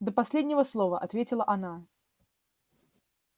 до последнего слова ответила она